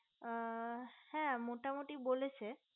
আ হ্যা বলেছে মোটামোটি বলেছে